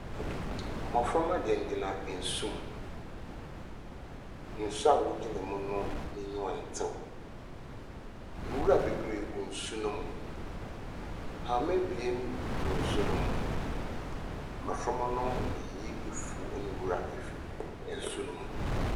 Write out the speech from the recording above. Mmoframa gyina gyina nsum. Nsu a wogyina mu no, emu ɛntew. Nwura bebree gu nsu nom. Hama abien wɔ nsu no mu. Mmoframa no reyi afuw ne nwura efi nsu nom.